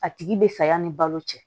A tigi bɛ saya ni balo cɛ